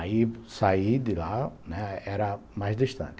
Aí saí de lá, né, era mais distante.